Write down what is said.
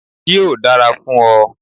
Yóò dára fún ọ.